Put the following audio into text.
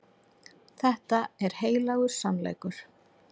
Þetta er heilagur sannleikur.